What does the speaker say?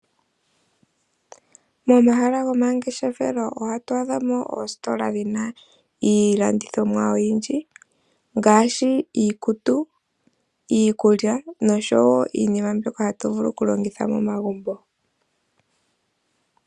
Momahala gomangeshefelo ohatu adhamo ositola dhina ilandithomwa oyindji ngashi iikutu , iikulya nosho wo iinima mbyoka hatuvulu okulongitha momagumbo.